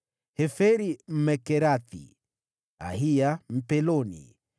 Heferi Mmekerathi, Ahiya Mpeloni,